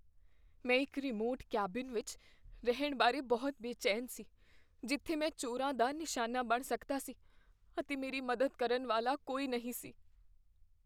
ਮੈਂ ਇੱਕ remote cabin ਵਿੱਚ ਰਹਿਣ ਬਾਰੇ ਬਹੁਤ ਬੇਚੈਨ ਸੀ ਜਿੱਥੇ ਮੈਂ ਚੋਰਾਂ ਦਾ ਨਿਸ਼ਾਨਾ ਬਣ ਸਕਦਾ ਸੀ ਅਤੇ ਮੇਰੀ ਮਦਦ ਕਰਨ ਵਾਲਾ ਕੋਈ ਨਹੀਂ ਸੀ।